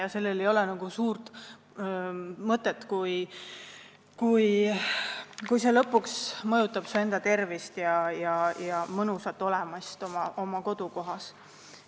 Asjal ei ole suurt mõtet, kui see lõpuks mõjutab su enda tervist ja mõnusat olemist oma kodukohas.